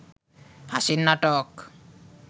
হাসির নাটক